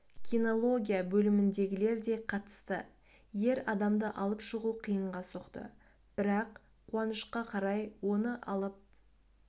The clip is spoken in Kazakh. кинология бөліміндегілер де қатысты ер адамды алып шығу қиынға соқты бірақ қуанышқа қарай оны алып